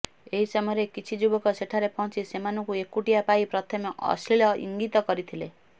ଏହି ସମୟରେ କିଛି ଯୁବକ ସେଠାରେ ପହଞ୍ଚି ସେମାନଙ୍କୁ ଏକୁଟିଆ ପାଇ ପ୍ରଥମେ ଅଶ୍ଳୀଳ ଇଙ୍ଗିତ କରିଥିଲେ